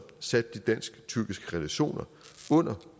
sat de dansk tyrkiske relationer under